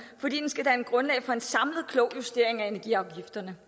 fordi den skal danne grundlag for en samlet klog justering af energiafgifterne